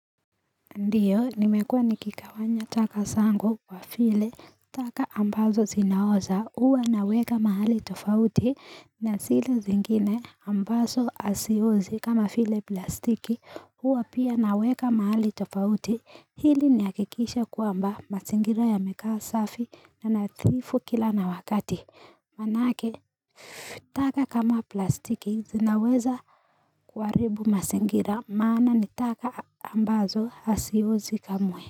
Ndiyo nimekua nikigawanya taka zangu kwa vile taka ambazo zinaoza huwa naweka mahali tofauti na zile zingine ambazo haziozi kama vile plastiki huwa pia naweka mahali tofauti ili nihakikishe kwamba mazingira yamekaa safi na nadhifu kila na wakati Maanake, taka kama plastiki zinaweza kuharibu mazingira, maana ni taka ambazo haziozi kamwe.